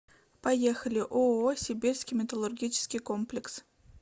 поехали ооо сибирский металлургический комплекс